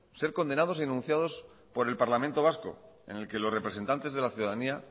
ser condenados y denunciados por el parlamento vasco en el que los representantes de la ciudadanía